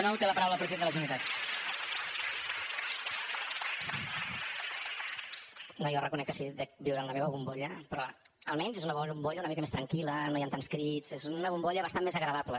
no jo reconec que sí que dec viure en la meva bombolla però almenys és una bombolla una mica més tranquil·la no hi han tants crits és una bombolla bastant més agradable